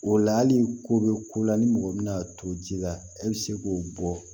O la hali ko bɛ ko la ni mɔgɔ mina to ji la e bɛ se k'o bɔ